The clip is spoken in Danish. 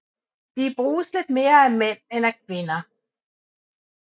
De bruges lidt mere af mænd end af kvinder